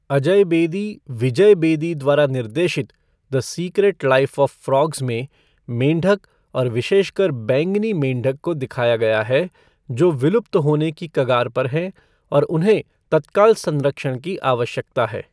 अजय बेदी, विजय बेदी द्वारा निर्देशित the secret life of frogs में मेंढक और विशेषकर बैंगनी मेंढक को दिखाया गया है जो विलुप्त होने की कगार पर हैं और उन्हें तत्काल संरक्षण की आवश्यकता है।